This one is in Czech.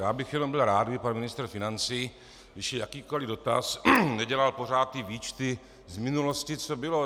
Já bych jenom byl rád, kdyby pan ministr financí, když je jakýkoliv dotaz, nedělal pořád ty výčty z minulosti, co bylo.